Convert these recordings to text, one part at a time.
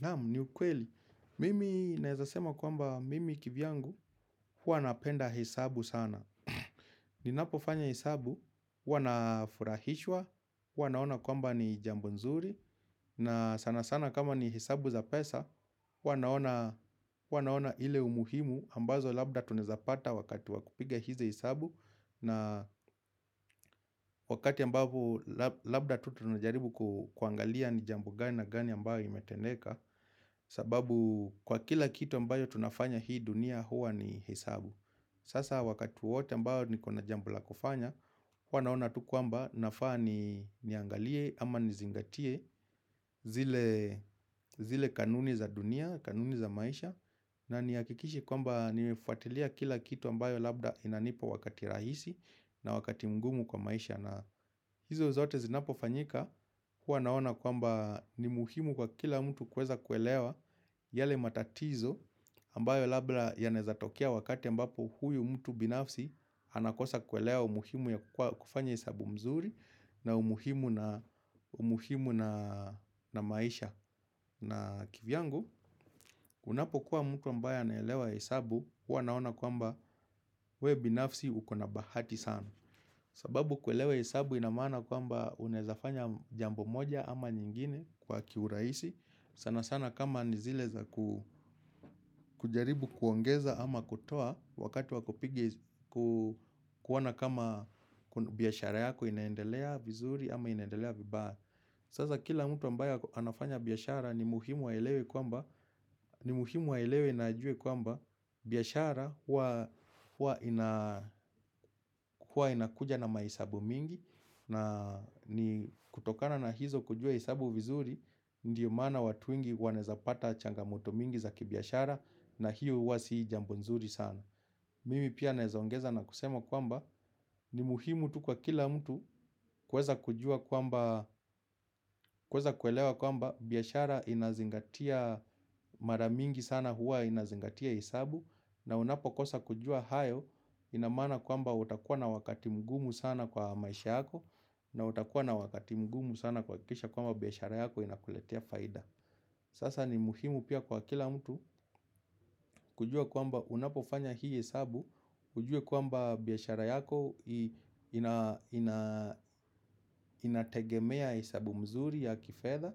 Naam, ni ukweli, mimi naweza sema kwamba mimi kivyangu huwa napenda hesabu sana. Ninapofanya hesabu, huwa nafurahishwa, huwa naona kwamba ni jambo nzuri na sana sana kama ni hesabu za pesa, huwa naona ile umuhimu ambazo labda tunawezapata wakati wa kupiga hizi hesabu na wakati ambavyo labda tu tunajaribu kuangalia ni jambo gani na gani ambayo imetendeka. Sababu kwa kila kitu ambayo tunafanya hii dunia huwa ni hesabu. Sasa wakati wowote ambayo nikona jambo la kufanya, huwa naona tu kwamba nafaa niangalie ama nizingatie zile kanuni za dunia, kanuni za maisha na nihakikishe kwamba nimefuatilia kila kitu ambayo labda inanipa wakati rahisi na wakati mngumu kwa maisha. Na hizo zote zinapofanyika, huwa naona kwamba ni muhimu kwa kila mtu kuweza kuelewa yale matatizo ambayo labda yanawezatokea wakati ambapo huyu mtu binafsi anakosa kuelewa umuhimu ya kufanya hesabu mzuri na umuhimu na maisha. Na kivyangu, unapokuwa mtu ambaye anaelewa hesabu, huwa naona kwamba we binafsi ukona bahati sana. Sababu kuelewa hesabu ina maana kwamba unaweza fanya jambo moja ama nyingine kwa kiurahisi. Sana sana kama ni zile za kujaribu kuongeza ama kutoa wakati wakuona kama biashara yako inaendelea vizuri ama inaendelea vibaya. Sasa kila mtu ambaya anafanya biashara ni muhimu aelewe na ajue kwamba biashara hua ina inakuja na mahesabu mingi na kutokana na hizo kujua hesabu vizuri ndio maana watu wengi wanaweza pata changamoto mingi za kibiashara na hiyo huwa si jambo nzuri sana. Mimi pia naweza ongeza na kusema kwamba ni muhimu tu kwa kila mtu kuweza kujua kwamba, kuweza kuelewa kwamba biashara inazingatia mara mingi sana huwa inazingatia hesabu na unapokosa kujua hayo ina maana kwamba utakuwa na wakati mgumu sana kwa maisha yako na utakuwa na wakati mgumu sana kuhakikisha kwamba biashara yako inakuletea faida. Sasa ni muhimu pia kwa kila mtu kujua kwamba unapofanya hii hesabu ujue kwamba biashara yako ina inategemea hesabu mzuri ya kifedha.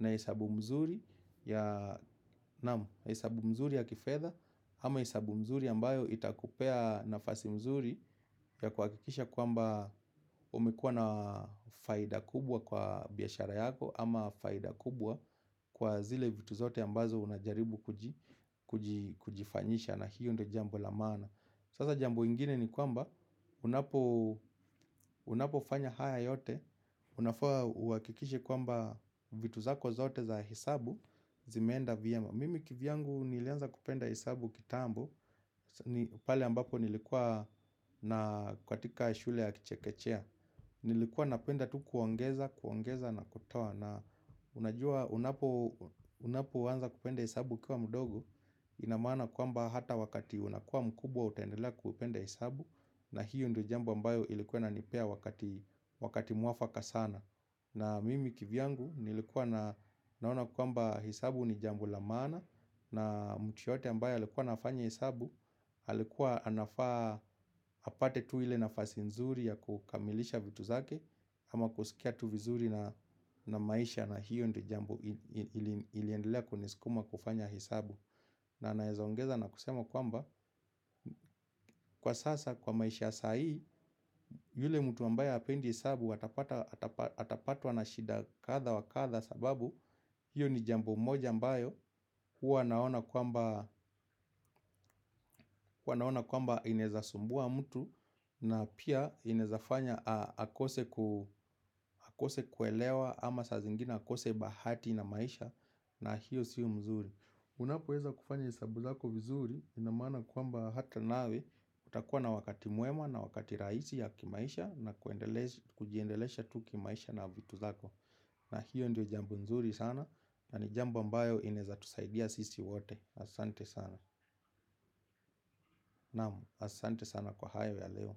Na hesabu mzuri ya, naam, hesabu mzuri ya kifedha ama hesabu mzuri ambayo itakupea nafasi mzuri ya kuhakikisha kwamba umekuwa na faida kubwa kwa biashara yako ama faida kubwa kwa zile vitu zote ambazo unajaribu kujifanyisha, na hio ndio jambo la maana. Sasa jambo ingine ni kwamba unapofanya haya yote unafaa uhakikishe kwamba vitu zako zote za hesabu zimeenda vyema. Mimi kivyangu nilianza kupenda hesabu kitambo pale ambapo nilikuwa katitika shule ya kichekechea. Nilikuwa napenda tu kuongeza, kuongeza na kutoa na unajua unapoanza kupenda hesabu ukiwa mdogo. Ina maana kwamba hata wakati unakua mkubwa utaendelea kupenda hesabu. Na hiyo ndio jambo ambayo ilikuwa inanipea wakati mwafaka sana. Na mimi kivyangu nilikuwa naona kwamba hesabu ni jambo la maana na mtu yoyote ambaye alikuwa anafanya hesabu, alikuwa anafaa apate tu ile nafasi nzuri ya kukamilisha vitu zake. Ama kusikia tu vizuri na maisha na hio ndio jambo iliendelea kunisukuma kufanya hesabu. Na naweza ongeza na kusema kwamba kwa sasa kwa maisha ya sahii yule mtu ambaye hapendi hesabu atapatwa na shida kadha wa kadha sababu hiyo ni jambo moja ambayo huwa naona kwamba, huwa naona kwamba inaweza sumbua mtu na pia inaweza fanya akose akose kuelewa ama sa zingine akose bahati na maisha na hiyo sio mzuri. Unapoweza kufanya hesabu zako vizuri ina maana kwamba hata nawe utakuwa na wakati mwema na wakati rahisi ya kimaisha na kujiendelesha tu kimaisha na vitu zako. Na hiyo ndio jambo mzuri sana na ni jambo ambayo inawezatusaidia sisi wote, asante sana. Naam, asante sana kwa hayo ya leo.